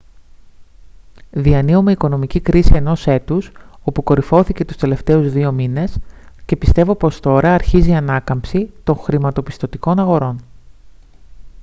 διανύουμε οικονομική κρίση ενός έτους όπου κορυφώθηκε τους τελευταίους δύο μήνες και πιστεύω πως τώρα αρχίζει η ανάκαμψη των χρηματοπιστωτικών αγορών»